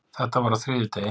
Þetta var á þriðjudegi.